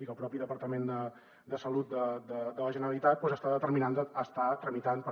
i que el propi departament de salut doncs està tramitant